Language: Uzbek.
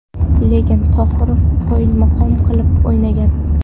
Lekin Tohir qoyilmaqom qilib o‘ynagan.